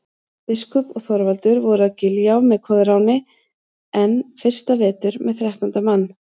Biskup og Þorvaldur voru að Giljá með Koðráni enn fyrsta vetur með þrettánda mann.